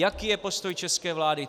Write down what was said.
Jaký je postoj české vlády?